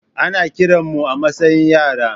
Ana kiran mu a matsayin yara.